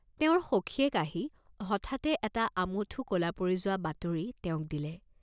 তেওঁৰ সখীয়েক আহি হঠাতে এটা আমঠু কলা পৰি যোৱা বাতৰি তেওঁক দিলে।